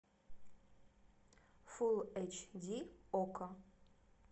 фул эйч ди окко